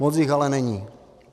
Moc jich ale není.